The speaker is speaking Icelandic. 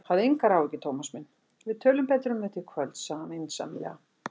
Hafðu engar áhyggjur, Thomas minn, við tölum betur um þetta í kvöld sagði hann vinsamlega.